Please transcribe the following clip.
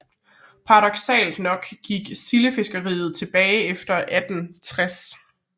Paradoksalt nok gik sildefiskeriet tilbage efter 1860